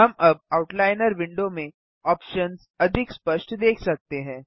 हम अब outliner window में ऑप्शन्स अधिक स्पष्ट देख सकते हैं